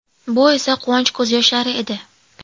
Bu esa quvonch ko‘z yoshlari edi”.